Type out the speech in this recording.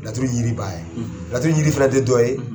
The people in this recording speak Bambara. Laturu yiri b' ye laturu jiri fana tɛ dɔ ye